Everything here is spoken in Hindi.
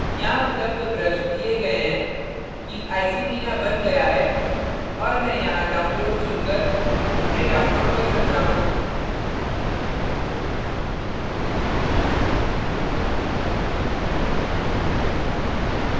यहाँ उपलब्ध ब्रश दिए गए हैं कि iceytina बन गया है और मैं यहाँ download चुनकर उन्हें download कर सकता हूँ